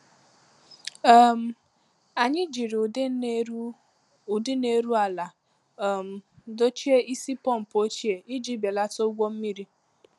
um Anyị jiri ụdị na-eru ụdị na-eru ala um dochie isi pọmpụ ochie iji belata ụgwọ mmiri.